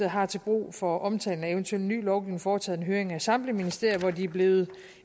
har til brug for omtalen af eventuel ny lovgivning foretaget en høring af samtlige ministerier hvor de er blevet